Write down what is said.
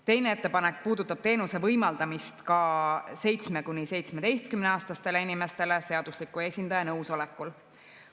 Teine ettepanek puudutab teenuse võimaldamist ka 7–17‑aastastele inimestele seadusliku esindaja nõusolekul.